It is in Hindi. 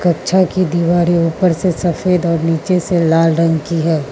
कक्षा की दिवारें ऊपर से सफेद और नीचे से लाल रंग की है।